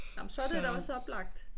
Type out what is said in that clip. Nåh men så er det da også oplagt